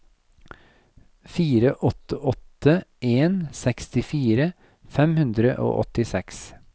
fire åtte åtte en sekstifire fem hundre og åttiseks